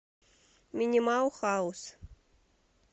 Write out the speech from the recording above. минимал хаус